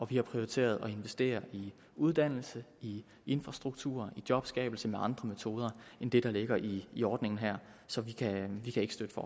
vi har prioriteret at investere i uddannelse i infrastruktur i jobskabelse med andre metoder end det der ligger i i ordningen her så vi kan ikke støtte